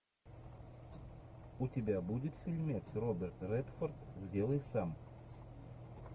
у тебя будет фильмец роберт редфорд сделай сам